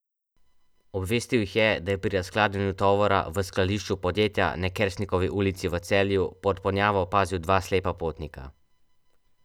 Obvestil jih je, da je pri razkladanju tovora v skladišču podjetja na Kersnikovi ulici v Celju pod ponjavo opazil dva slepa potnika.